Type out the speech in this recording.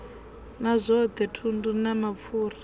na zwothe thundu na mapfura